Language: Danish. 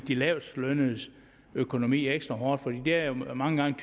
de lavestlønnedes økonomi ekstra hårdt for det er jo mange gange